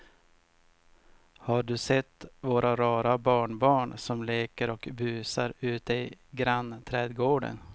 Har du sett våra rara barnbarn som leker och busar ute i grannträdgården!